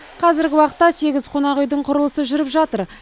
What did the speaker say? қазіргі уақытта сегіз қонақүйдің құрылысы жүріп жатыр